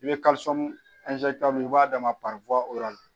I bɛ i b'a d'a ma